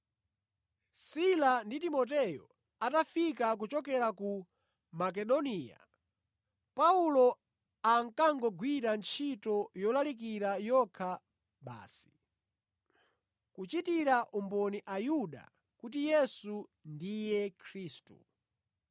Sila ndi Timoteyo atafika kuchokera ku Makedoniya, Paulo ankangogwira ntchito yolalikira yokha basi, kuchitira umboni Ayuda kuti Yesu ndiye Khristu.